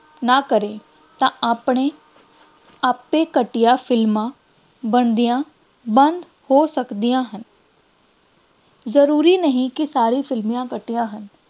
ਨਾ ਕਰੇ ਤਾਂ ਆਪਣੇ ਆਪੇ ਘਟੀਆਂ ਫਿਲਮਾਂ ਬਣਦੀਆਂ ਬੰਦ ਹੋ ਸਕਦੀਆਂ ਹਨ ਜ਼ਰੂਰੀ ਨਹੀਂ ਕਿ ਸਾਰੀਆਂ ਫਿਲਮਾਂ ਘਟੀਆ ਹਨ,